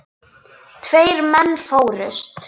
Tveir menn fórust.